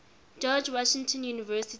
george washington university